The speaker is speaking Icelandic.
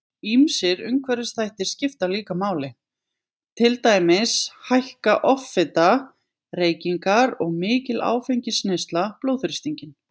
Ýmsir umhverfisþættir skipta líka máli, til dæmis hækka offita, reykingar og mikil áfengisneysla blóðþrýstinginn.